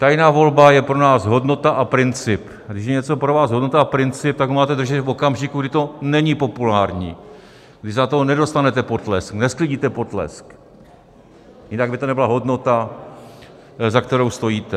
Tajná volba je pro nás hodnota a princip, a když je něco pro vás hodnota a princip, tak to máte dodržet v okamžiku, kdy to není populární, kdy za to nedostanete potlesk, nesklidíte potlesk, jinak by to nebyla hodnota, za kterou stojíte.